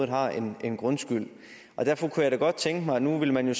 har en en grundskyld derfor kunne jeg godt tænke mig nu vil man jo